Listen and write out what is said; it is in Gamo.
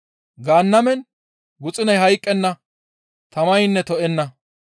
Gaannamen guxuney hayqqenna, tamaynne to7enna.